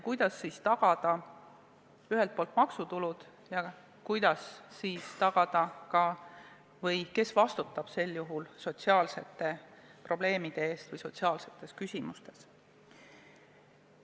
Kuidas sellistes oludes tagada ühelt poolt maksutulud ja kes vastutab sel juhul sotsiaalsete probleemide lahendamise eest?